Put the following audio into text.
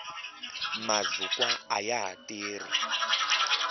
mazukwa ayaha tirhi